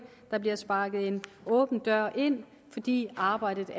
der bliver sparket en åben dør ind fordi arbejdet